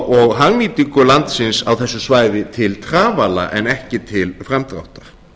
og hagnýtingu landsins á þessu svæði til trafala en ekki til framdráttar